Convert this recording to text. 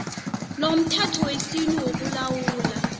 nomthetho wesintu wokulawula